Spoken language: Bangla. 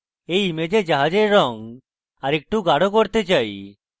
আমি এই image জাহাজের রঙ আরেকটু গাঢ় করতে চাই